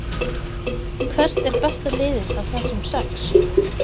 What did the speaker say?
Hvert er besta liðið af þessum sex?